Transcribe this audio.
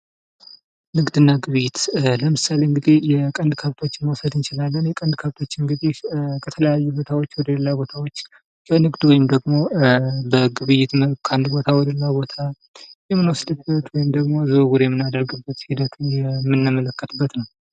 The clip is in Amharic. ንግድና ግብይት ለምሳሌ የቀንድ ከብቶችን መውሰድ እንችላለን ።የቀንድ ከብቶችን ከተለያዩ ቦታዎች ወደ ሌላ ቦታዎች በንግድ ወይም ደግሞ በግብይት መልክ ከአንድ ቦታ ወደ ሌላ ቦታ የምንወስድበት ወይም ደግሞ ዝውውር የምናደርግበት የምንመለከትበት ሂደት ነው።